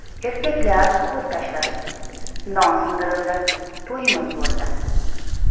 Erkaklar qo‘l tashlashdi, non sindirildi, to‘yimiz bo‘ldi.